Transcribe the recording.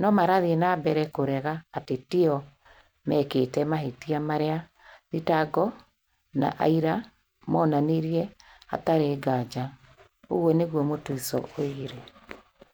no marathiĩ na mbere kũrega atĩ ti o meekĩte mahĩtia marĩa thitango na aira monanirie hatarĩ nganja", ũguo nĩguo Mutiso oigire.